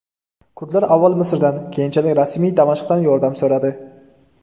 Kurdlar avval Misrdan , keyinchalik rasmiy Damashqdan yordam so‘radi.